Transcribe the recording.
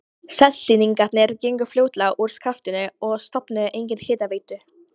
Seltirningar gengu fljótlega úr skaftinu og stofnuðu eigin hitaveitu.